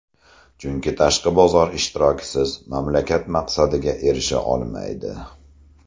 Chunki tashqi bozor ishtirokisiz mamlakat maqsadiga erisha olmaydi.